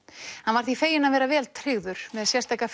hann var því feginn að vera vel tryggður með sérstaka